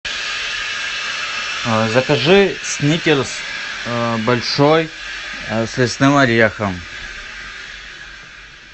закажи сникерс большой с лесным орехом